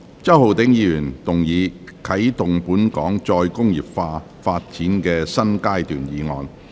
周浩鼎議員動議的"啟動本港再工業化發展的新階段"議案。